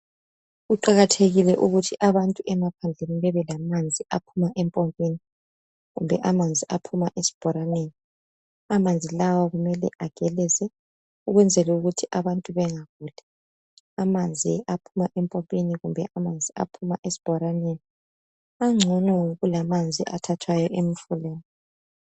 Kuqakathekile ukuthi abantu emaphandleni bebelamanzi aphuma empompini kumbe aphuma esibhoraneni amanzi lawa kumele ageleze ukwenzela ukuthi abantu bengaguli, amanzi aphuma empompini kumbe esibhoraneni angcono kulamanzi athathwa emfuleni.